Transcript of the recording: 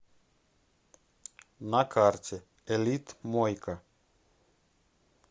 на карте элитмойка